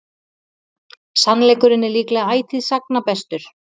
Sannleikurinn er líklega ætíð sagna bestur.